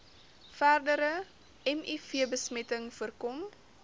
verdere mivbesmetting voorkom